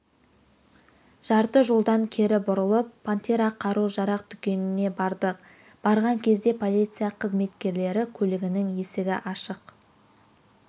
жарты жолдан кері бұрылып пантера қару-жарақ дүкеніне бардық барған кезде полиция қызметкерлері көлігінің есігі ашық